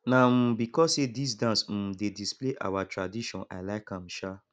na um because sey dis dance um dey display our tradition i like am um